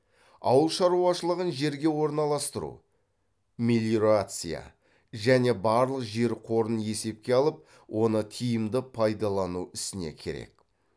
ауыл шаруашылығын жерге орналастыру мелиорация және барлық жер қорын есепке алып оны тиімді пайдалану ісіне керек